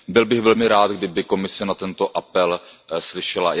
Byl bych velmi rád, kdyby Komise na tento apel slyšela.